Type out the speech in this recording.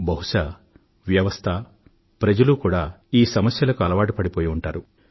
బహుశా వ్యవస్థ ప్రజలు ఈ సమస్యలకు అలవాటు పడిపోయి ఉంటారు